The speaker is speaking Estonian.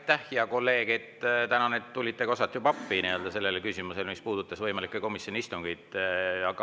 Aitäh, hea kolleeg, et tulite osalt appi seda küsimust, mis puudutab komisjonide võimalikke istungeid!